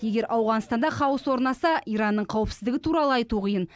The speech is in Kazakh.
егер ауғанстанда хаос орнаса иранның қауіпсіздігі туралы айту қиын